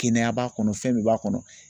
Kɛnɛya b'a kɔnɔ fɛn bɛɛ b'a kɔnɔ.